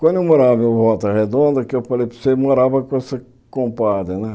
Quando eu morava em Volta Redonda, que eu falei para você, morava com essa compadre né.